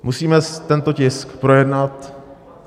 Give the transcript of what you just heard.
Musíme tento tisk projednat.